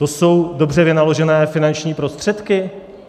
To jsou dobře vynaložené finanční prostředky?